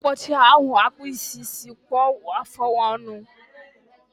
Ụbọchị a ha-akpụ isi, sị kpụkwuo afọ ọnụ